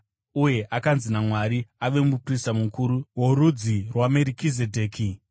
uye akanzi naMwari ave muprista mukuru worudzi rwaMerikizedheki.